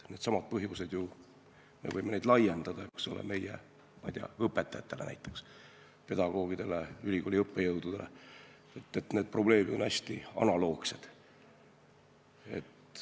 Needsamad põhjused, me võime ju neid laiendada, eks ole, näiteks meie õpetajatele, pedagoogidele ja ülikooli õppejõududele, probleemid on analoogsed.